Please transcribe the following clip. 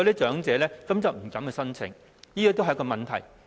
長者因而不敢申請，這便是問題所在。